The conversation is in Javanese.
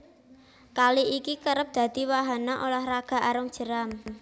Kali iki kerep dadi wahana ulah raga arung jeram